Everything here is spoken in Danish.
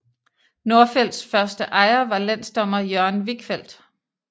Nordfelts første ejer var landsdommer Jørgen Wichfeld